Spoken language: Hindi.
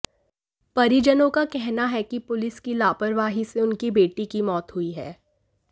परिजनों का कहना है कि पुलिस की लापरवाही से उनकी बेटी की मौत हुई है